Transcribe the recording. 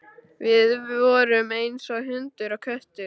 Við vorum eins og hundur og köttur.